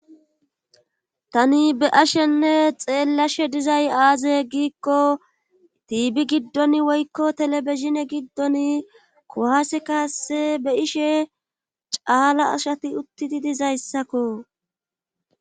tani be ashenne xeellashe dizay aaze giikko tiibi giddon woykko telebizine giddon kohaase kaase be ishe caala ashati uttidi dizayssakko